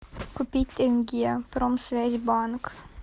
купить тенге промсвязьбанк